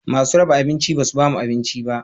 Masu raba abinci basu ba mu abinci ba